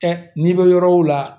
n'i bɛ yɔrɔ o la